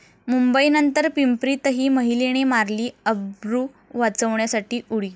मुंबई नंतर पिंपरीतही महिलेने मारली अब्रू वाचवण्यासाठी उडी